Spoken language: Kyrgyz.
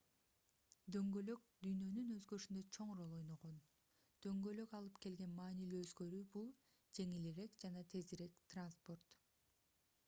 дөңгөлөк дүйнөнүн өзгөрүшүндө чоң роль ойногон дөңгөлөк алып келген маанилүү өзгөрүү бул жеңилирээк жана тезирээк транспорт